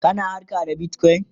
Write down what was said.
kana harka da Bitcoin?